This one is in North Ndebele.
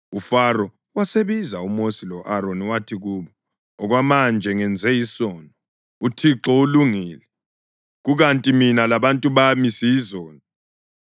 UFaro wasebiza uMosi lo-Aroni. Wathi kubo, “Okwamanje ngenze isono. UThixo ulungile, kukanti mina labantu bami siyizoni.